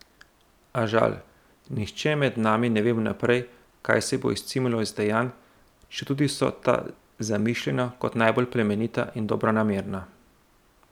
A, žal, nihče med nami ne ve vnaprej, kaj se bo izcimilo iz dejanj, četudi so ta zamišljena kot najbolj plemenita in dobronamerna.